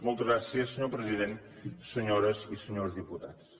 moltes gràcies senyor president senyores i senyors diputats